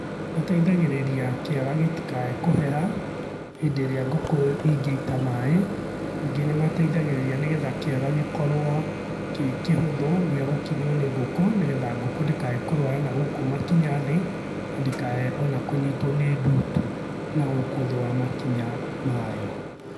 Mateithagĩrĩria kiaga gĩtikae kũheha, hĩndĩ-ĩrĩa ngũkũ ingĩita maĩ. Ningĩ nĩmateithagĩrĩria nĩgetha kiaga gĩkorũo, kĩ kĩhũthũ gĩa gũkinyũo nĩ ngũkũ, nĩgetha ngũkũ ndĩkae kũrũara na gũkũ makinya thĩ, na ndĩkae ona kũnyitũo nĩ ndutu, na gũkũ thĩ wa makinya mayo.